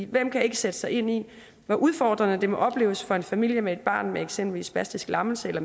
hvem kan ikke sætte sig ind i hvor udfordrende det må opleves for en familie med et barn med eksempelvis spastisk lammelse eller